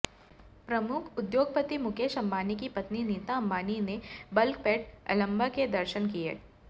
प्रमुख उद्योगपति मुकेश अंबानी की पत्नी नीता अंबानी ने बल्कपेट एल्लम्मा के दर्शन किये